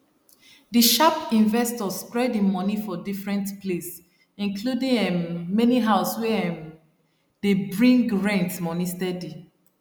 di sharp investor spread him money for different place including um many house wey um dey bring rent money steady